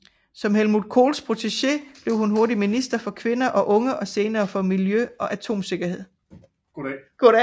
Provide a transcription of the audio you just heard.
Som Helmut Kohls protegé blev hun hurtigt minister for kvinder og unge og senere for miljø og atomsikkerhed